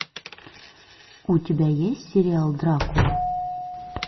у тебя есть сериал дракула